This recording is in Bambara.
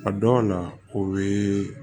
A dɔw la o bɛ